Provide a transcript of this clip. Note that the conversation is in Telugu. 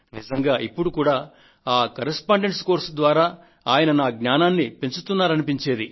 నిజంగా ఇప్పుడు కూడా కరెస్పాండెన్స్ కోర్సు ద్వారా ఆయన నా జ్ఞానాన్ని పెంచుతున్నారని అనిపించేది